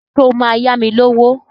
Ṣé o máa yá mi lówó?